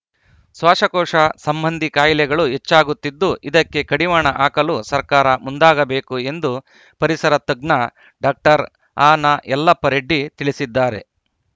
ಶ್ವಾಸಕೋಶ ಸಂಬಂಧಿ ಕಾಯಿಲೆಗಳು ಹೆಚ್ಚಾಗುತ್ತಿದ್ದು ಇದಕ್ಕೆ ಕಡಿವಾಣ ಹಾಕಲು ಸರ್ಕಾರ ಮುಂದಾಗಬೇಕು ಎಂದು ಪರಿಸರ ತಜ್ಞ ಡಾಕ್ಟರ್ ಅನಯಲ್ಲಪ್ಪ ರೆಡ್ಡಿ ತಿಳಿಸಿದ್ದಾರೆ